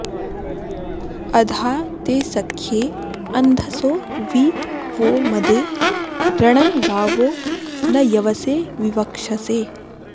अधा ते सख्ये अन्धसो वि वो मदे रणन्गावो न यवसे विवक्षसे